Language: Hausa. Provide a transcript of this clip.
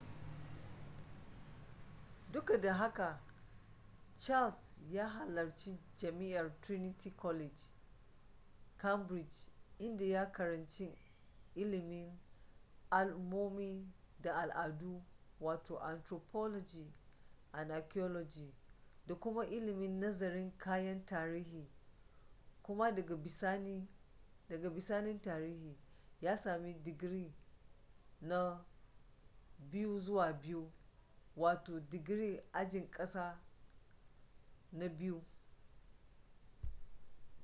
duk da haka charles ya halarci jami'ar trinity college cambridge inda ya karanci ilimin al’ummomi da al’adu wato anthropology and archaeology da kuma ilimin nazarin kayan tarihi kuma daga bisani tarihi ya sami digiri na 2:2 digiri ajin ƙasa na biyu